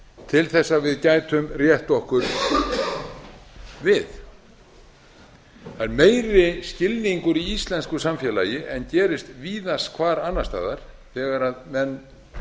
til að við gætum rétt okkur við það er meiri skilningur í íslensku samfélagi en gerist víðast hvar annars staðar þegar menn